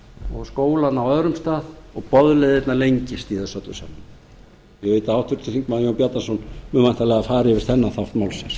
og skólana á öðrum stað og boðleiðirnar lengist í þessu öllu saman ég veit að háttvirtur þingmaður jón bjarnason mun væntanlega fara yfir þennan þátt málsins